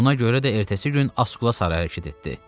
Buna görə də ertəsi gün Askula saraya hərəkət etdi.